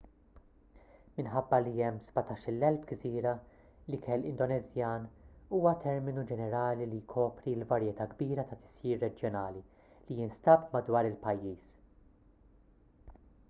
minħabba li hemm 17,000 gżira l-ikel indoneżjan huwa terminu ġenerali li jkopri l-varjetà kbira ta' tisjir reġjonali li jinstab madwar il-pajjiż